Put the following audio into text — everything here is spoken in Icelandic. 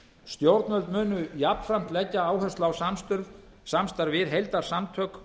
stjórnvöld munu jafnframt leggja áherslu á samstarf við heildarsamtök